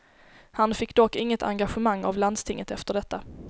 Han fick dock inget engagemang av landstinget efter detta.